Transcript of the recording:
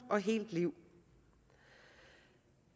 liv